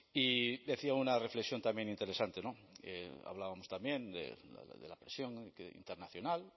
y decía una reflexión también interesante hablábamos también de la presión internacional